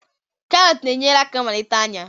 karots na-enyere aka melite anya